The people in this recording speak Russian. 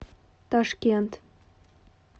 ташкент